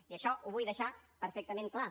i això ho vull deixar perfectament clar